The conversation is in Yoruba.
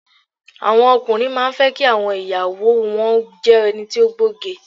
Àwọn ọkùnrin má a fẹ́ kí àwọn ìyàwó o wọn jé ẹni to gbóge